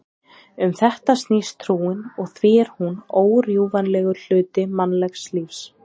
Um þetta snýst trúin og því er hún órjúfanlegur hluti mannlegs lífs.